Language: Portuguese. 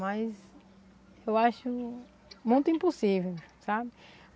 Mas eu acho muito impossível, sabe?